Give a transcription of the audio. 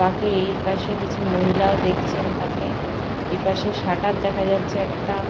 বাকি এপাশে কিছু মহিলাও দেখছেন তাকে। এপাশে শাটার দেখা যাচ্ছে একটা।